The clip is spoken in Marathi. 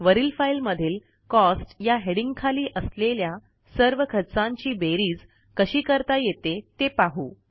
वरील फाईलमधील कॉस्ट या हेडिंग खाली असलेल्या सर्व खर्चांची बेरीज कशी करता येते ते पाहू